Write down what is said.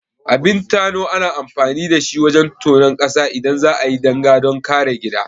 Abin tano ana amfani da shi wajan tonon ƙasa idan za'ayi danga don kare gida